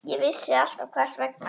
Ég vissi alltaf hvers vegna.